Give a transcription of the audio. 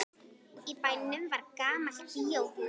Í bænum var gamalt bíóhús.